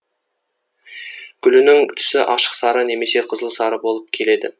гүлінің түсі ашық сары немесе қызылсары болып келеді